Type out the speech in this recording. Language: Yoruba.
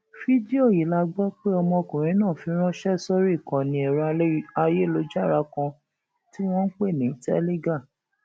fídíò yìí la gbọ pé ọmọkùnrin náà fi ránṣẹ sórí ìkànnì ẹrọ ayélujára kan tí wọn ń pè ní teligar